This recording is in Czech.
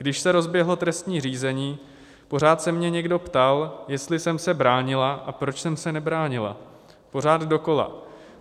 Když se rozběhlo trestní řízení, pořád se mě někdo ptal, jestli jsem se bránila a proč jsem se nebránila, pořád dokola.